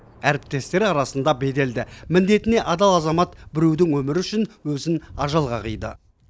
әріптестері арасында беделді міндетіне адал азамат біреудің өмірі үшін өзін ажалға қиды